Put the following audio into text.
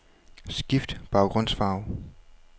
Skift baggrundsfarve.